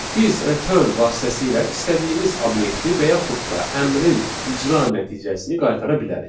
Biz return vasitəsilə istədiyimiz obyekti və yaxud da əmrin icra nəticəsini qaytara bilərik.